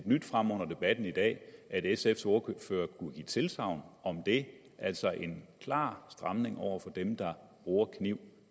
nyt frem under debatten i dag at sfs ordfører kunne give tilsagn om det altså en klar stramning over for dem der bruger kniv